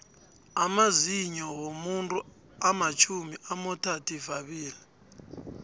amazinyou womuntu amatjhumi amothathivabili